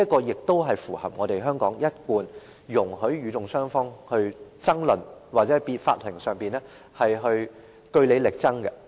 而這也是符合香港一貫容許與訟雙方爭論，或在法庭上據理力爭的做法。